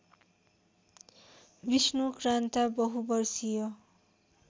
विष्णुक्रान्ता बहुवर्षीय